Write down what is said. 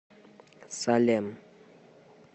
салем